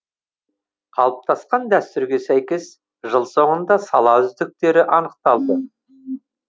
қалыптасқан дәстүрге сәйкес жыл соңында сала үздіктері анықталды